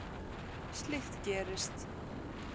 Slíkt gerist.